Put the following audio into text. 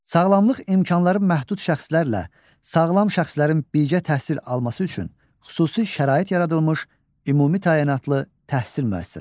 Sağlamlıq imkanları məhdud şəxslərlə sağlam şəxslərin birgə təhsil alması üçün xüsusi şərait yaradılmış ümumi təyinatlı təhsil müəssisəsi.